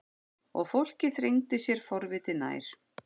Og fólkið þrengdi sér forvitið nær.